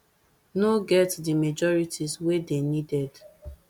no get di majorities wey dey needed